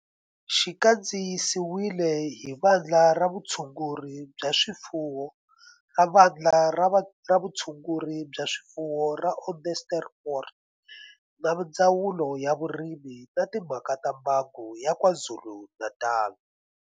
Xi kandziyisiwe hi Vandla ra Vutshunguri bya swifuwo ra Vandla ra Vutshunguri bya swifuwo ra Onderstepoort na Ndzawulo ya Vurimi na Timhaka ta Mbango ya KwaZulu-Natal.